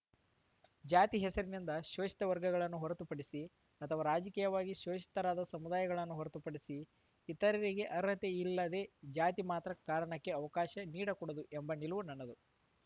ಜಾತಿ ಹೆಸರಿನಿಂದ ಶೋಷಿತ ವರ್ಗಗಳನ್ನು ಹೊರತು ಪಡಿಸಿ ಅಥವಾ ರಾಜಕೀಯವಾಗಿ ಶೋಷಿತರಾದ ಸಮುದಾಯಗಳನ್ನು ಹೊರತುಪಡಿಸಿ ಇತರರಿಗೆ ಅರ್ಹತೆ ಇಲ್ಲದೇ ಜಾತಿ ಮಾತ್ರ ಕಾರಣಕ್ಕೆ ಅವಕಾಶ ನೀಡಕೂಡದು ಎಂಬ ನಿಲುವು ನನ್ನದು